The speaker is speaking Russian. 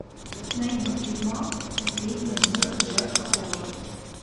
найди тюрьма последние дни джека холла